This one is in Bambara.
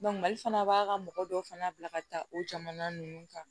mali fana b'a ka mɔgɔ dɔw fana bila ka taa o jamana ninnu kan